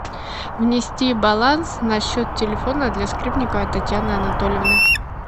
внести баланс на счет телефона для скрипниковой татьяны анатольевны